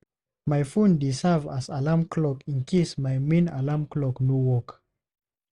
My phone dey serve as backup alarm clock in case my main alarm clock no work.